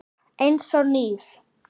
Eins og nýr.